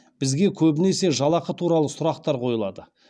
бізге көбінесе жалақы туралы сұрақтар қойылады